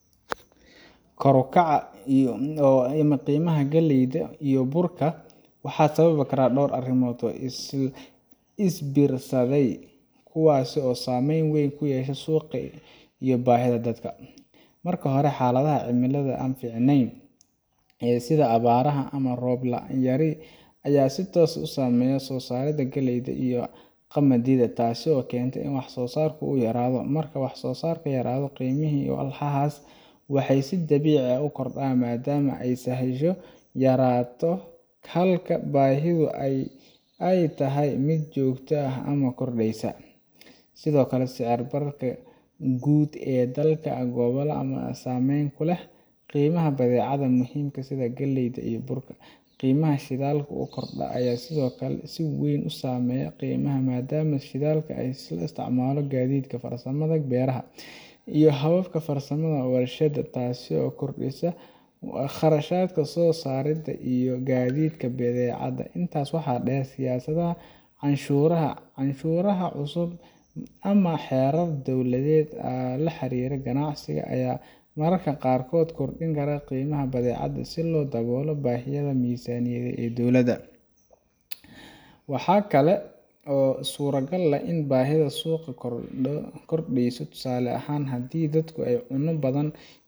Kor u kaca qiimaha galleyda iyo burka waxa sababi kara dhowr arrimood oo isbiirsaday kuwaas oo saameyn weyn ku yeesha suuqa iyo baahida dadka. Marka hore, xaaladaha cimilada ee aan fiicnayn sida abaaraha ama roob yari ayaa si toos ah u saameeya soo saaridda galleyda iyo qamadiga, taasoo keenta in wax soo saarku yaraado. Marka wax soo saarka yaraado, qiimihii walxahaas ayaa si dabiici ah u kordha maadaama sahaydu yaraato halka baahidu ay tahay mid joogto ah ama sii kordheysa. Sidoo kale, sicir bararka guud ee dalka ama gobolka ayaa saameyn ku leh qiimaha badeecadaha muhiimka ah sida galleyda iyo burka. Qiimaha shidaalka oo kordha ayaa sidoo kale si weyn u saameeya qiimaha, maadaama shidaalka loo isticmaalo gaadiidka, farsamada beeraha, iyo hababka farsamada warshadaha, taasoo kordhisa kharashka soo saaridda iyo gaadiidka badeecadaha. Intaa waxaa dheer, siyaasadaha canshuuraha, cashuuraha cusub ama xeerarka dawladda ee la xiriira ganacsiga ayaa mararka qaarkood kordhin kara qiimaha badeecadaha si loo daboolo baahiyaha miisaaniyadda dowladda. Waxaa kale oo suuragal ah in baahida suuqa ay kordhayso, tusaale ahaan haddii dadku ay cuno badan